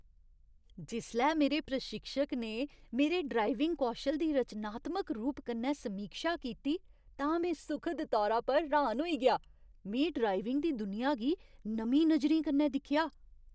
जिसलै मेरे प्रशिक्षक ने मेरे ड्राइविंग कौशल दी रचनात्मक रूप कन्नै समीक्षा कीती तां में सुखद तौरा पर र्हान होई गेआ। में ड्राइविंग दी दुनिया गी नमीं नजरें कन्नै दिक्खेआ।